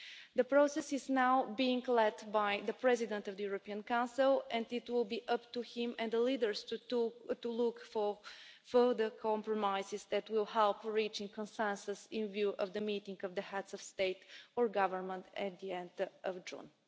The process is now being led by the President of the European Council, and it will be up to him and the leaders to look for further compromises that will help reach a consensus in view of the meeting of the Heads of State and Government at the end of June.